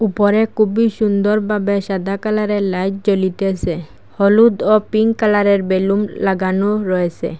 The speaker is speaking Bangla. উপরে খুবই সুন্দরভাবে সাদা কালারের লাইট জ্বলিতেসে হলুদ ও পিঙ্ক কালারের বেলুন লাগানো রয়েসে।